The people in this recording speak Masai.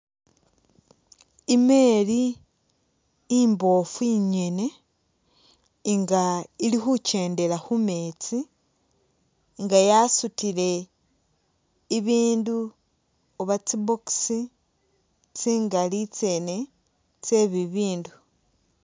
I'meri imboofu ingene nga ili khukendela khu meetsi nga yasutile ibindu uba tsi box tsingali tsye bibindu.